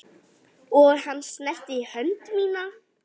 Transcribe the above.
Og hann snerti hönd mína.